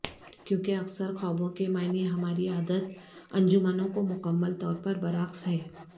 کیونکہ اکثر خوابوں کے معنی ہماری عادت انجمنوں کو مکمل طور پر برعکس ہے